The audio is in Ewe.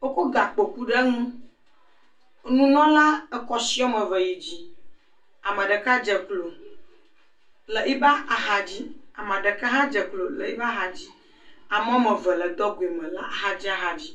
wokɔ gakpo ku ɖe ŋu. Nunɔla ekɔ si wɔmeve yi dzi, ameɖeka dze klo le yiba axa dzi, ameɖeka hã dze klo le yiba axa dzi, ame wɔmeve le dɔgoe me le axadzi axadzi.